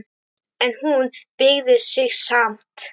En hún beygði sig samt.